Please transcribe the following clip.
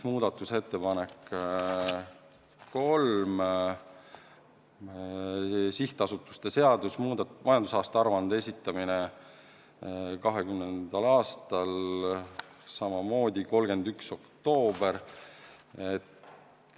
Muudatusettepanek nr 3: sihtasutuste seaduse kohaselt majandusaruande esitamine 2020. aastal – samamoodi 31. oktoober.